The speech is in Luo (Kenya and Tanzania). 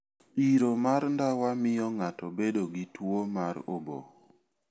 Iro mar ndawa miyo ng'ato bedo gi tuwo mar obo.